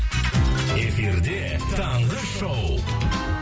эфирде таңғы шоу